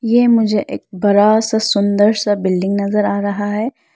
ये मुझे एक बड़ा सा सुंदर सा बिल्डिंग नजर आ रहा है।